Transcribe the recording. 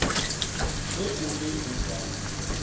ge o be o ka